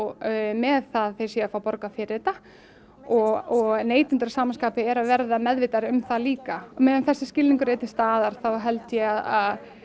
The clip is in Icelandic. með það að þeir séu að fá borgað fyrir þetta og neytendur að sama skapi eru að verða meðvitaðri um það líka á meðan þessi skilningur er til staðar þá held ég að